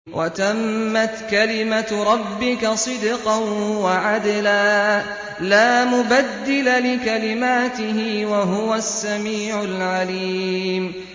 وَتَمَّتْ كَلِمَتُ رَبِّكَ صِدْقًا وَعَدْلًا ۚ لَّا مُبَدِّلَ لِكَلِمَاتِهِ ۚ وَهُوَ السَّمِيعُ الْعَلِيمُ